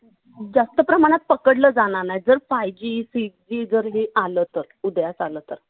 जास्त प्रमाणात पकडलं जाणार नाही. जर five G six G जर हे आलं तर उदयास आलं तर.